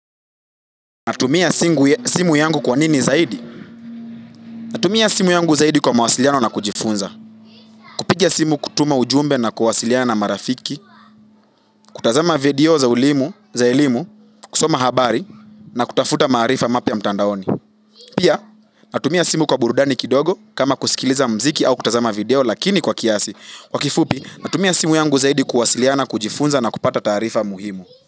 Natumia simu yangu kwa nini zaidi? Natumia simu yangu zaidi kwa mawasiliano na kujifunza. Kupiga simu, kutuma ujumbe na kuwasiliana marafiki, kutazama video za elimu, za elimu, kusoma habari, na kutafuta maarifa mapya mtandaoni. Pia, natumia simu kwa burudani kidogo, kama kusikiliza mziki au kutazama video, lakini kwa kiasi, kwa kifupi, natumia simu yangu zaidi kuwasiliana, kujifunza na kupata taarifa muhimu.